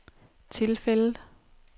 tilfældet